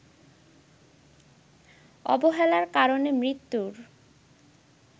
অবহেলার কারণে মৃত্যুর